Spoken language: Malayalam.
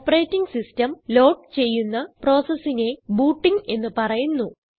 ഓപ്പറേറ്റിംഗ് സിസ്റ്റം ലോഡ് ചെയ്യുന്ന പ്രോസസിനെ ബൂട്ടിംഗ് എന്ന് പറയുന്നു